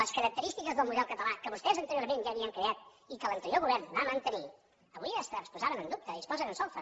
les característiques del model català que vostès anteriorment ja havien creat i que l’anterior govern va mantenir avui es posaven en dubte i es posen en solfa